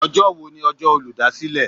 Ọjọ́ wo ni ọjọ́ olúdásílè?